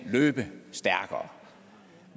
løbe stærkere